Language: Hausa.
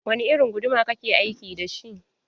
Wani irin guduma ka ke aiki dashi?